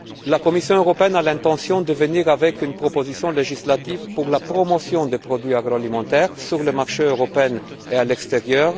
La Commission européenne a l'intention de présenter une proposition législative pour la promotion des produits agroalimentaires sur le marché européen et à l'extérieur.